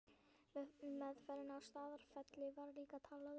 Í meðferðinni á Staðarfelli var líka talað um